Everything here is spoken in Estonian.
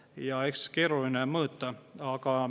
Ja eks keeruline on seda mõõta.